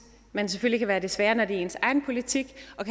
man selvfølgelig kan være desværre når det er ens egen politik og